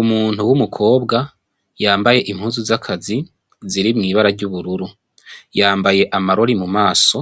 Umuntu w'umukobwa yambaye impuzu zakazi ziri mwibara ryubururu yambaye amarori mu maso